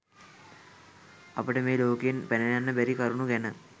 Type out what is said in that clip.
අපට මේ ලෝකයෙන් පැනයන්න බැරි කරුණු ගැන